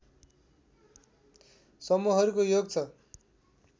समूहहरूको योग छ